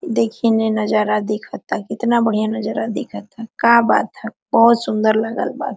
देखिने नज़ारा दिख ताकितना बढ़िया नज़ारा दिख ता का बात ह बहुत सुन्दर लागल बा।